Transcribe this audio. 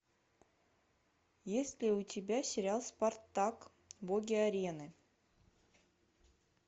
есть ли у тебя сериал спартак боги арены